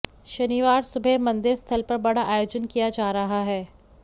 शनिवार सुबह मंदिर स्थल पर बड़ा आयोजन किया जा रहा है